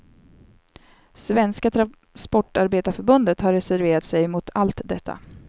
Svenska transportarbetareförbundet har reserverat sig mot allt detta.